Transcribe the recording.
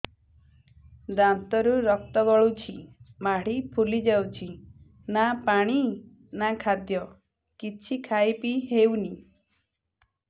ଦାନ୍ତ ରୁ ରକ୍ତ ଗଳୁଛି ମାଢି ଫୁଲି ଯାଉଛି ନା ପାଣି ନା ଖାଦ୍ୟ କିଛି ଖାଇ ପିଇ ହେଉନି